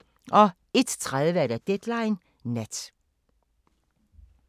01:30: Deadline Nat